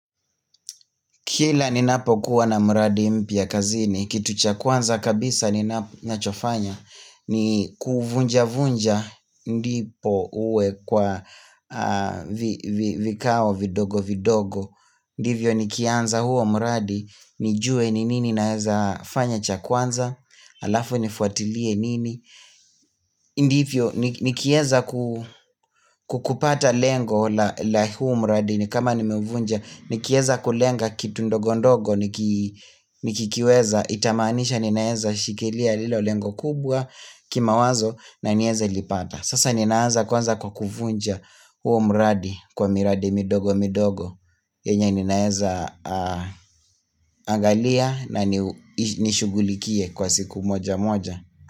Kila ni napokuwa na mradi mpya kazini, kitu cha kwanza kabisa ni nachofanya ni kuvunja-vunja ndipo uwe kwa vikao vindogo-vindogo Ndivyo nikianza huo mradi, nijue ni nini naeza fanya cha kwanza, halafu nifuatilie nini Ndivyo ni kieza kukupata lengo la huo mradi ni kama nimeuvunja Nikieza kulenga kitu ndogo ndogo, nikikiweza itamaanisha ninaeza shikilia lilo lengo kubwa kima wazo na niweze lipata Sasa ninaanza kwanza kwa kuvunja huo mradi kwa miradi midogo midogo yenye ninaeza angalia na nishugulikie kwa siku moja moja.